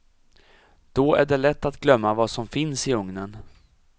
Då är det lätt att glömma vad som finns i ugnen.